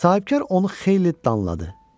Sahibkar onu xeyli danladı.